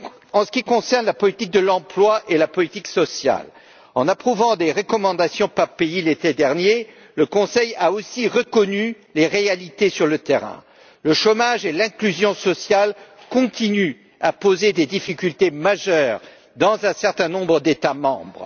En ce qui concerne la politique de l'emploi et la politique sociale, en approuvant des recommandations par pays l'été dernier, le Conseil a aussi reconnu les réalités sur le terrain. Le chômage et l'inclusion sociale continuent à poser des difficultés majeures dans un certain nombre d'États membres.